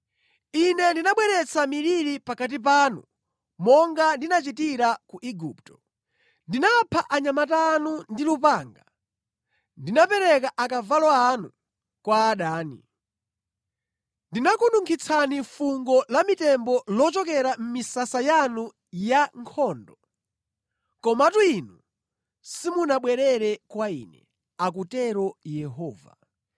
“Ine ndinabweretsa miliri pakati panu monga ndinachitira ku Igupto. Ndinapha anyamata anu ndi lupanga, ndinapereka akavalo anu kwa adani. Ndinakununkhitsani fungo la mitembo lochokera mʼmisasa yanu ya nkhondo. Komatu inu simunabwerere kwa Ine,” akutero Yehova.